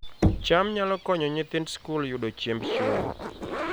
cham nyalo konyo nyithind skul yudo chiemb chuny